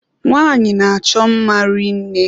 Nwanyi a n'achọ mma rinne.